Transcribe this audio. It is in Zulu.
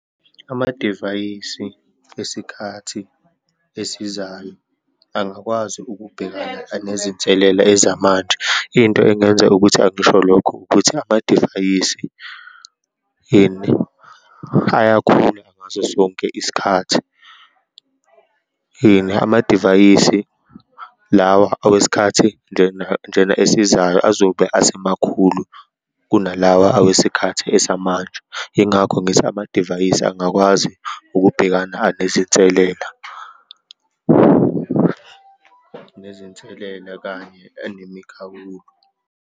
Amadivayisi esikhathi esizayo angakwazi ukubhekana nezinselela ezamanje. Into engenza ukuthi angisho lokho ukuthi, amadivayisi ini, ayakhula ngaso sonke isikhathi. Yini amadivayisi, lawa owesikhathi njena, njena esizayo azobe asemakhulu kunalawa owesikhathi esamanje. Yingakho ngithi amadivayisi angakwazi ukubhekana anezinselela, nezinselela kanye anemikhawulo.